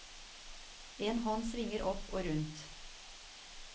En hånd svinger opp og rundt.